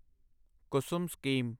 Kusum scheme